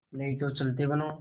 नहीं तो चलते बनो